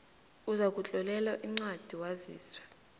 uzakutlolelwa incwadi waziswe